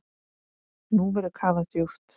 Nú verður kafað djúpt.